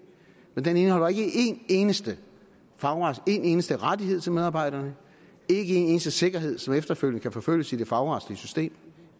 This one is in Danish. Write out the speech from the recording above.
men de indeholder ikke en eneste en eneste rettighed til medarbejderne ikke en eneste sikkerhed som efterfølgende kan forfølges i det fagretlige system